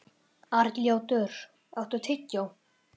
Arnljótur, áttu tyggjó?